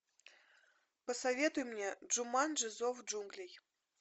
посоветуй мне джуманджи зов джунглей